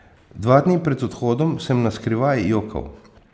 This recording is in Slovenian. Dva dni pred odhodom sem na skrivaj jokal.